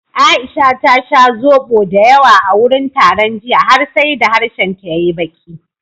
Aisha ta sha zobo dayawa a wurin taron jiya har sai da harshenta ya yi baƙi.